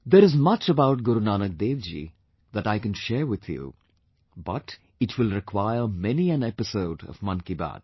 There is much about Guru Nanak Dev ji that I can share with you, but it will require many an episode of Mann ki Baat